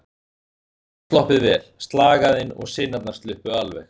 Ég tel mig hafa sloppið vel, slagæðin og sinarnar sluppu alveg.